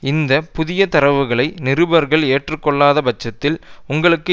இந்த புதிய தரவுகளை நிருபர்கள் ஏற்றுக்கொள்ளாத பட்சத்தில் உங்களுக்கு